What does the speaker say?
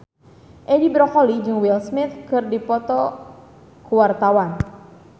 Edi Brokoli jeung Will Smith keur dipoto ku wartawan